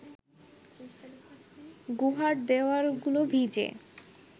গুহার দেওয়ালগুলো ভিজে